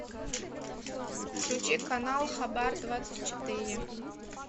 включи канал хабар двадцать четыре